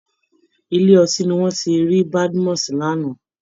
Ilé ọtí ni wọ́n ti rí Badmus lánàá